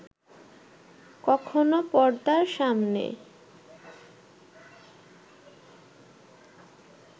কখনো পর্দার সামনে